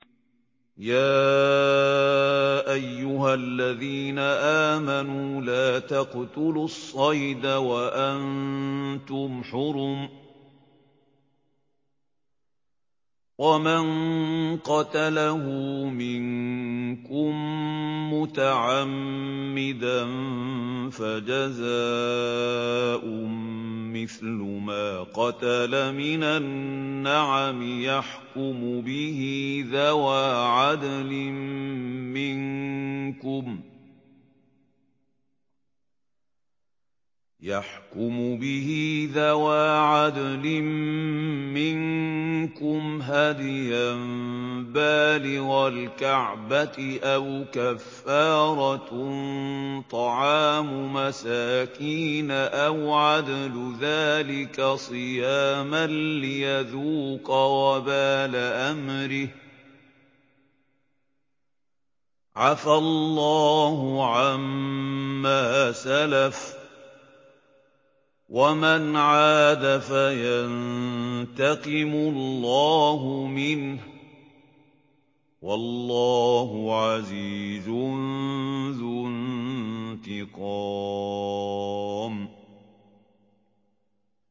يَا أَيُّهَا الَّذِينَ آمَنُوا لَا تَقْتُلُوا الصَّيْدَ وَأَنتُمْ حُرُمٌ ۚ وَمَن قَتَلَهُ مِنكُم مُّتَعَمِّدًا فَجَزَاءٌ مِّثْلُ مَا قَتَلَ مِنَ النَّعَمِ يَحْكُمُ بِهِ ذَوَا عَدْلٍ مِّنكُمْ هَدْيًا بَالِغَ الْكَعْبَةِ أَوْ كَفَّارَةٌ طَعَامُ مَسَاكِينَ أَوْ عَدْلُ ذَٰلِكَ صِيَامًا لِّيَذُوقَ وَبَالَ أَمْرِهِ ۗ عَفَا اللَّهُ عَمَّا سَلَفَ ۚ وَمَنْ عَادَ فَيَنتَقِمُ اللَّهُ مِنْهُ ۗ وَاللَّهُ عَزِيزٌ ذُو انتِقَامٍ